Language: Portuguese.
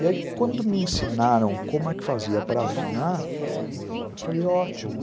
E aí quando me ensinaram como é que fazia para afinar, eu falei ótimo.